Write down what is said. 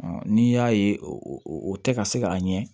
n'i y'a ye o tɛ ka se ka a ɲɛ